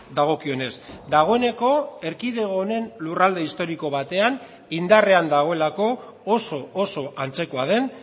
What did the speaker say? dagokionez dagoeneko erkidego honen lurralde historiko batean indarrean dagoelako oso oso antzekoa den